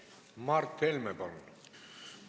Mart Helme, palun!